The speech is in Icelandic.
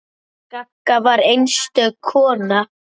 Gagga var einstök kona.